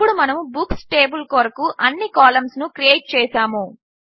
ఇప్పుడు మనము books table కొరకు అన్ని కాలంస్ క్రియేట్ చేసాము